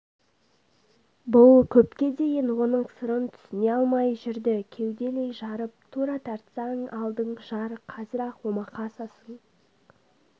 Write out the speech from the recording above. бұл көпке дейін оның сырын түсіне алмай жүрді кеуделей жарып тура тартсаң алдың жар қазір-ақ омақасасың